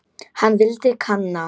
Hann vildi kanna.